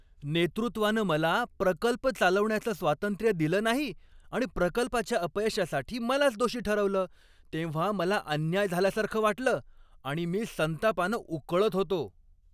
नेतृत्वानं मला प्रकल्प चालवण्याचं स्वातंत्र्य दिलं नाही आणि प्रकल्पाच्या अपयशासाठी मलाच दोषी ठरवलं तेव्हा मला अन्याय झाल्यासारखं वाटलं आणि मी संतापानं उकळत होतो.